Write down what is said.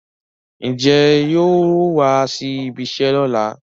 Ǹjẹ́ yóò wá síbi iṣẹ́ lọ́la?